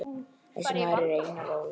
Þessi maður er Einar Ól.